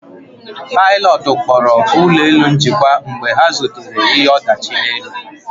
Pilotu kpọrọ ụlọ elu njikwa mgbe ha zutere ihe ọdachi n'elu